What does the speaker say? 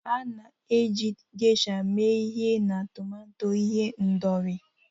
A na-eji Geisha mee ihe na tomato ihendori